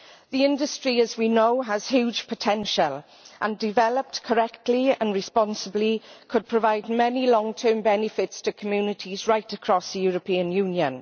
The industry, as we know, has huge potential and, developed correctly and responsibly, could provide many long term benefits to communities right across the European Union.